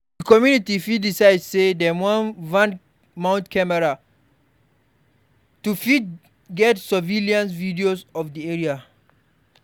Di community fit decide sey dem wan mount camera for to fit get survaillance video of di area